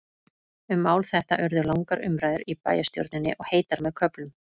Um mál þetta urðu langar umræður í bæjarstjórninni, og heitar með köflum.